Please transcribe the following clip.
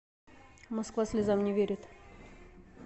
москва слезам не верит